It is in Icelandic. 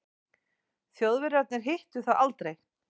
Þjóðverjarnir hittu það aldrei.